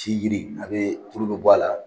Tikiri a bɛ furu bɛ bɔ a la